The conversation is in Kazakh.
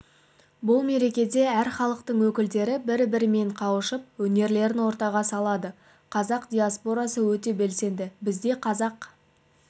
бұл мерекеде әр халықтың өкілдері бірі-бірімен қауышып өнерлерін ортаға салады қазақ диаспорасы өте белсенді бізде қазақ